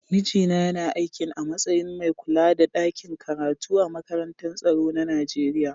Mijina yana aikin a matsayin mai kulla da ɗakin karatu a makarantar tsaro na Nijeriya.